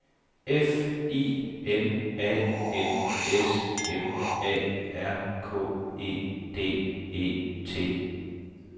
F I N A N S M A R K E D E T